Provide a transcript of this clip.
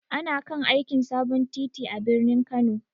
Ana kan aikin sabon titi a birnin Kano.